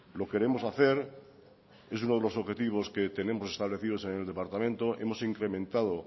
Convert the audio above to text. lo queremos hacer es uno de los objetivos que tenemos establecidos en el departamento hemos incrementado